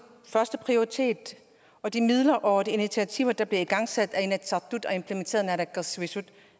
førsteprioritet og de midler og de initiativer der bliver igangsat af inatsisartut og implementeret af naalakkersuisut